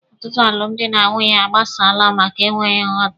Ọtụtụ alụmdi na nwunye agbasaala maka enweghị nghọta.